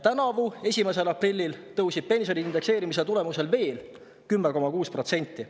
Tänavu 1. aprillil tõusis pension indekseerimise tulemusel veel 10,6%.